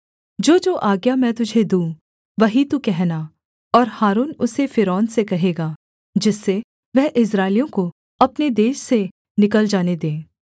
जोजो आज्ञा मैं तुझे दूँ वही तू कहना और हारून उसे फ़िरौन से कहेगा जिससे वह इस्राएलियों को अपने देश से निकल जाने दे